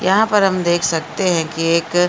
यहाँ पर हम देख सकते हैं कि एक --